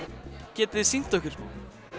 getið þið sýnt okkur smá